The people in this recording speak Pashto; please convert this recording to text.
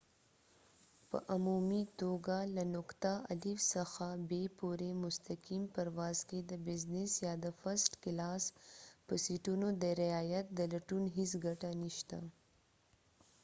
په عمومي توګه له نقطه الف څخه ب پورې مستقیم پرواز کې د بزنس یا د فرسټ کلاس په سیټونو د رعایت د لټون هیڅ ګټه نشته